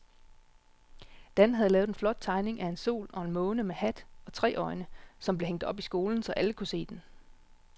Dan havde lavet en flot tegning af en sol og en måne med hat og tre øjne, som blev hængt op i skolen, så alle kunne se den.